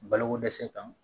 Balokodɛsɛ kan